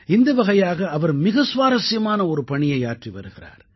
இந்த வகையாக அவர் மிக சுவாரசியமான ஒரு பணியை ஆற்றி வருகிறார்